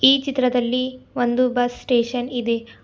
ಈ ಚಿತ್ರದಲ್ಲಿ ಒಂದು ಬಸ್ ಸ್ಟೇಷನ್ ಇದೆ.